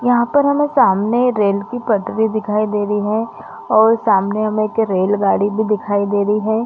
यहाँ पर हमें सामने रेल की पटरी दिखाई दे रही है और सामने में हमें एक रेलगाड़ी भी दिखाई दे रही है।